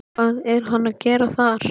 Hvað er hann að gera þar?